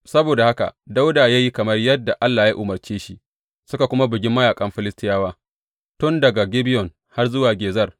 Saboda haka Dawuda ya yi kamar yadda Allah ya umarce shi, suka kuma bugi mayaƙan Filistiyawa, tun daga Gibeyon har zuwa Gezer.